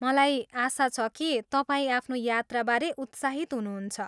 मलाई आशा छ कि तपाईँ आफ्नो यात्राबारे उत्साहित हुनुहुन्छ।